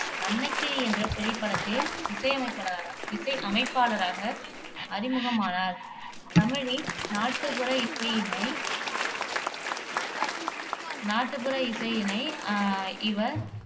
அன்னக்கிளி என்ற திரைப்படத்தில் இசையமைப்பள இசையமைப்பாளராக அறிமுகமானார் தமிழின் நாட்டுப்புற இசையினை நாட்டுப்புற இசையினை அஹ் இவர்